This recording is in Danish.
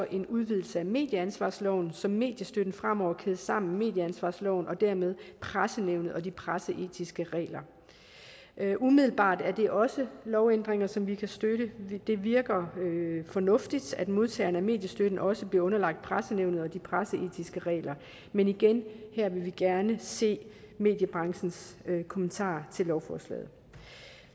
en udvidelse af medieansvarsloven så mediestøtten fremover kædes sammen med medieansvarsloven og dermed pressenævnet og de presseetiske regler umiddelbart er det også lovændringer som vi kan støtte det virker fornuftigt at modtagerne af mediestøtten også bliver underlagt pressenævnet og de presseetiske regler men igen her vil vi gerne se mediebranchens kommentarer til lovforslaget